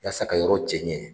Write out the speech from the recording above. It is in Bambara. yaasa ka yɔrɔ cɛ ɲɛ